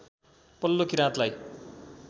पल्लो किराँतलाई